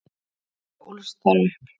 og ólst þar upp.